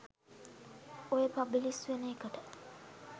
ඔය පබ්ලිෂ් වෙන එකට